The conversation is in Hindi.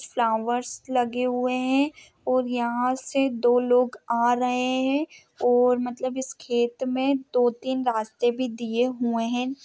फ्लावर्स लगे हुवे है और यहा से दो लोग आ रहे है और मतलब इस खेत मे दो तीन रास्ते भी दिए हुये है।